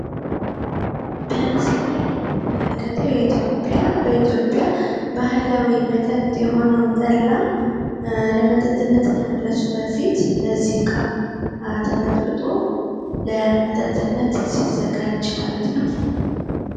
በምስሉ ላይ የምንመለከተው የኢትዮጵያ በኢትዮጵያ ባህላዊ መጠጥ የሆነው ጠላ ለመጠጥነት ከመድረሱ በፊት በዚህ እቃ ተበጥብጦ ለመጠጥነት ሲዘጋጅ ማለት ነው።